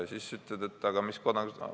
Sa siis küsid, et mis riigi kodanik ta on.